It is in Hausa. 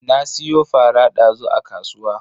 Na siyo fara dazu a kasuwa.